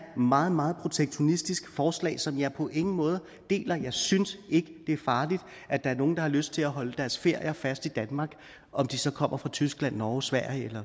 meget meget protektionistisk forslag som jeg på ingen måde deler jeg synes ikke det er farligt at der er nogle der har lyst til at holde deres ferier fast i danmark om de så kommer fra tyskland norge sverige